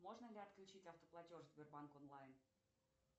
можно ли отключить автоплатеж в сбербанк онлайн